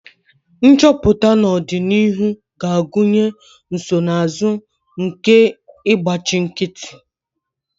Nchọpụta n'ọdịnihu ga-agụnye nsonaazụ nke ịgbachi nkịtị